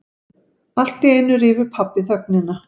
Alltíeinu rýfur pabbi þögnina.